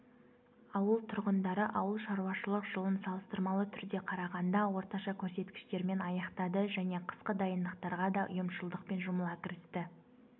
ауыл тұрғындары ауыл шаруашылық жылын салыстырмалы түрдде қарағанда орташа көрсеткіштермен аяқтады және қысқы дайындықтарға да ұйымшылдықпен жұмыла кірісті